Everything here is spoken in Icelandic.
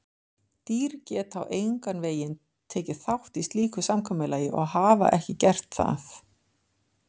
Dýr geta engan veginn tekið þátt í slíku samkomulagi og hafa ekki gert það.